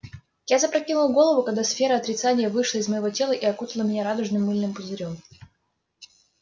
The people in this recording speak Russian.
я запрокинул голову когда сфера отрицания вышла из моего тела и окутала меня радужным мыльным пузырём